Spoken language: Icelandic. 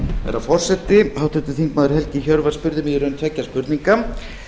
herra forseti háttvirtur þingmaður helgi hjörvar spurði mig í raun tveggja spurninga